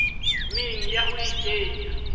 meng ya ho a kenya